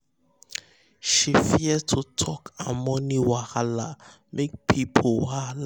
she fear to talk her money wahala make people wahala make people no judge or shame her.